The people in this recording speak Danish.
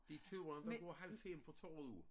De 2 andre går halv 5 fra torvet jo